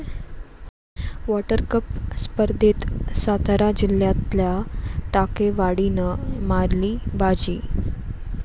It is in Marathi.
वॉटरकप स्पर्धेत सातारा जिल्ह्यातल्या टाकेवाडीनं मारली बाजी